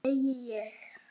Segi ég.